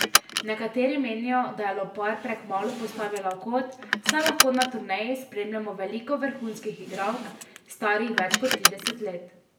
Nekateri menijo, da je lopar prekmalu postavila v kot, saj lahko na turneji spremljamo veliko vrhunskih igralk, starih več kot trideset let.